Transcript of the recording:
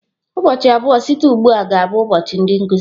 Ụbọchị abụọ site ugbu a ga-abụ ụbọchị ndị nkuzi.